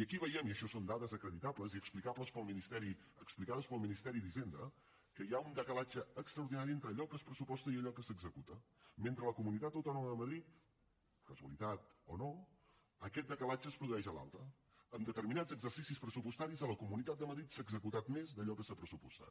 i aquí veiem i això són dades acreditables i explicades pel ministeri d’hisenda que hi ha un decalatge extraordinari entre allò que es pressuposta i allò que s’executa mentre que a la comunitat autònoma de madrid casualitat o no aquest decalatge es produeix a l’alça en determinats exercicis pressupostaris a la comunitat de madrid s’ha executat més d’allò que s’ha pressupostat